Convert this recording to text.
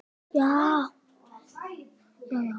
Við vitum þetta öll.